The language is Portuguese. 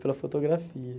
Pela fotografia.